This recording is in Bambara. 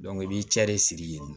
i b'i cɛ de sigi yen